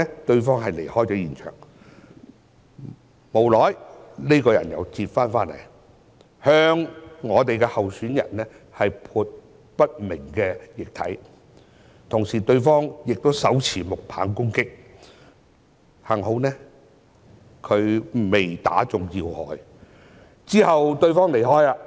對方其後離開現場，不久後再次折返，向候選人潑上不明液體，同時手持木棒攻擊，幸好沒有擊中要害，之後又離開了。